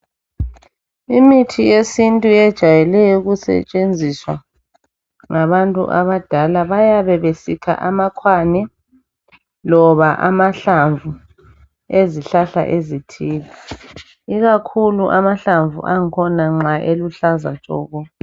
Imithi yesintu yejwale ukusetshenziswa ngabantu abadala. Bayabe besikha amakhwane loba amahlamvu ezihlahla ezithile, ikakhulu amahlamvu angkhona nxa eluhlaza tshoko.